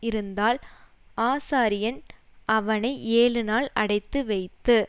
இருந்தால் ஆசாரியன் அவனை ஏழுநாள் அடைத்து வைத்து